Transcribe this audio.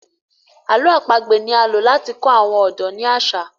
àlọ́ àpagbè ní a ló láti kọ àwọn ọdọ ní aṣa